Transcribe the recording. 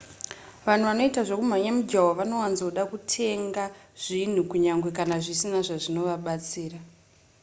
vanhu vanoita zvekumhanya mijaho vanowanzoda kutenga zvinhu kunyange kana zvisina zvazvinovabatsira